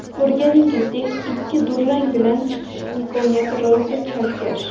Ko‘rganingizdek, ikki durang bilan chiqish imkoniyati rosa chalkash.